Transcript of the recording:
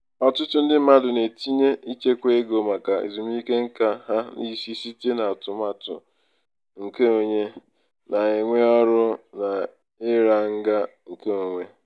ọtụtụ ndị mmadụ na-etinye ichekwa ego maka ezumike nka n'isi site n'atụmatụ nke nke onye na-ewe ọrụ na ira ga nke onwe.